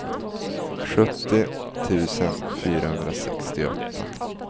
sjuttio tusen fyrahundrasextioåtta